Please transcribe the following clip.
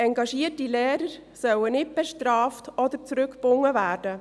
Engagierte Lehrer sollen nicht bestraft oder zurückgebunden werden.